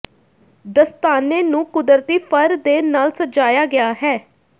ਦਸਤਾਨੇ ਨੂੰ ਕੁਦਰਤੀ ਫਰ ਦੇ ਨਾਲ ਸਜਾਇਆ ਗਿਆ ਹੈ